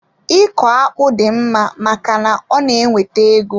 Iko akpụ dị mma maka na ọ na-ewete ego.